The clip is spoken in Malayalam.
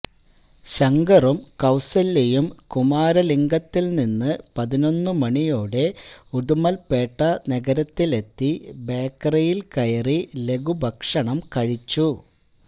ശങ്കറും കൌസല്യയും കുമരലിംഗത്തിൽ നിന്നു പതിനൊന്നു മണിയോടെ ഉടുമൽപേട്ട നഗരത്തിലെത്തി ബേക്കറിയിൽ കയറി ലഘുഭക്ഷണം കഴിച്ചു